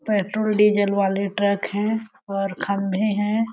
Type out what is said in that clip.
Petrol diesel वाले truck है और खंभे है।